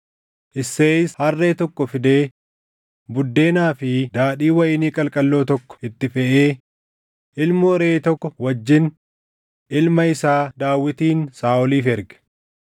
Isseeyis harree tokko fidee buddeenaa fi daadhii wayinii qalqalloo tokko itti feʼee, ilmoo reʼee tokko wajjin ilma isaa Daawitin Saaʼoliif erge.